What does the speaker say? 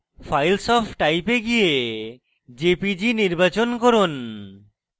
files of type এ go jpg নির্বাচন করুন